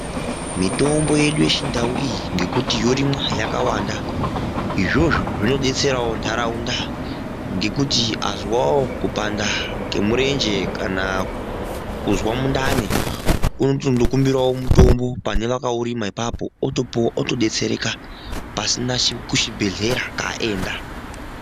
Mitombo yedu yechindau iyi ngekuti yorimwa yakawanda izvozvo zvinodetserawo ntaraunda ngekuti azwawo kupanda kwemurenje kana kuzwa mundani unoti ndinokumbirawo mutombo pane vakaurima ipapo otopuwa otodetsereka pasina kuchibhehlera kwaaenda.